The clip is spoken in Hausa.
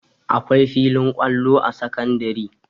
Akwai filin kwallo a sakandare